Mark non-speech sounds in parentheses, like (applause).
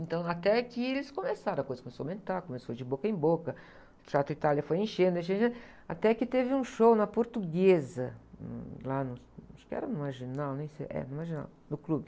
Então, até que eles começaram, a coisa começou a aumentar, começou de boca em boca, o Teatro Itália foi enchendo, enchendo, (unintelligible) até que teve um show na Portuguesa, um, lá no, acho que era na Marginal, nem sei, é na Marginal, no Clube.